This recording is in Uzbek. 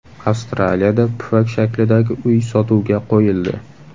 Avstraliyada pufak shaklidagi uy sotuvga qo‘yildi .